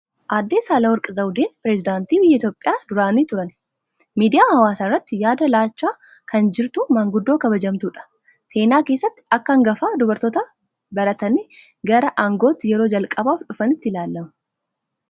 Aadde Saale Worqi Zawudeen Piresidaantii biyya Itoophiyaa duraanii turani. Miidiyaa hawaasaa irratti yaada laachaa kan jirtu, maanguddoo kabajamtuudha. Seenaa keessatti akka hangafa dubartoota baratanii gara aangootti yeroo jalqabaaf dhufaniitti ilaalamu.